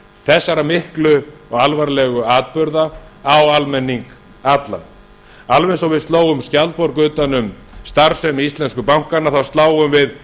þessara miklu og alvarlegu atburða á almenning allan alveg eins og við öllum skjaldborg utan um starfsemi íslensku bankanna þá sláum við